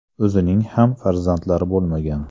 O‘zining ham farzandlari bo‘lmagan.